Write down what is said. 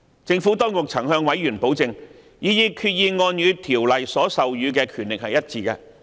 政府當局曾向委員保證，擬議決議案與《條例》所授予的權力一致。